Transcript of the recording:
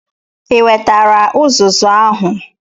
Ị wetara uzuzu ahu?